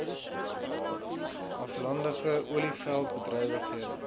aflandige olieveld bedrywighede